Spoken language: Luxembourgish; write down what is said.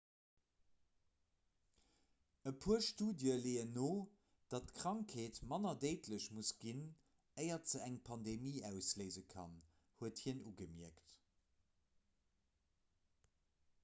e puer studië leeën no datt d'krankheet manner déidlech muss ginn éier se eng pandemie ausléise kann huet hien ugemierkt